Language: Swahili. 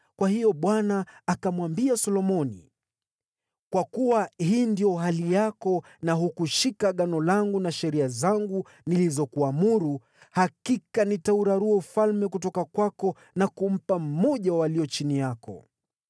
Kwa hiyo Bwana akamwambia Solomoni, “Kwa kuwa hii ndiyo hali yako na hukushika Agano langu na sheria zangu nilizokuamuru, hakika nitaurarua ufalme kutoka kwako na kumpa mmoja wa walio chini yako.